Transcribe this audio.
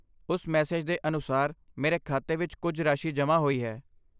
ਉਸ ਮੈਸੇਜ ਦੇ ਅਨੁਸਾਰ ਮੇਰੇ ਖਾਤੇ ਵਿੱਚ ਕੁੱਝ ਰਾਸ਼ੀ ਜਮ੍ਹਾਂ ਹੋਈ ਹੈ।